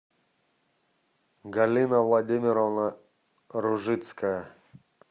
галина владимировна ружицкая